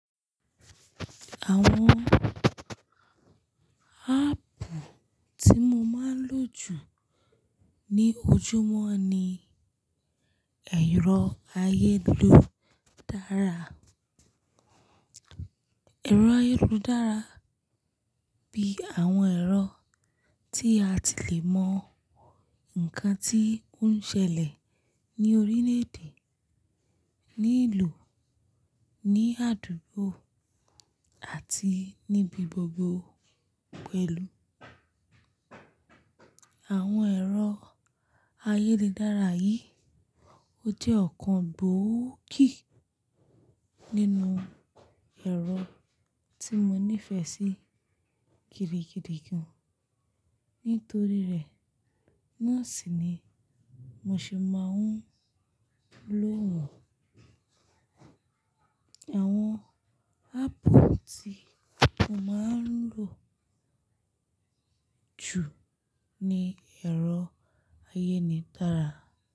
Àwọn áàpù tí mo máa ń lò jù ní ojúmọ́ ni ẹ̀rọ ayélujára. Ẹ̀rọ ayélujára bíi àwọn ẹ̀rọ tí a ti le mọ nǹkan tí ó ń ṣẹlẹ̀ ní orílẹ̀-èdè, ní ìlú, ní àdúgbò àti níbi gbogbo pẹ̀lú. Àwọn ẹ̀rọ ayélujára yìí, ó jẹ́ ọ̀kan gbòógì nínú ẹ̀rọ tí mo nífẹ̀ẹ́ sí gidigidi gan, nítorí rẹ̀ náà sì ni mo ṣe máa ń lò wọ́n. Àwọn áàpù tí mo máa ń lò jù ni ẹ̀rọ ayélujára.